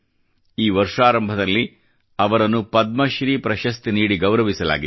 ಈ ವರ್ಷಾರಂಭದಲ್ಲಿ ಅವರನ್ನು ಪದ್ಮಶ್ರೀ ಪ್ರಶಸ್ತಿ ನೀಡಿ ಗೌರವಿಸಲಾಗಿತ್ತು